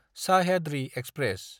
Sahyadri express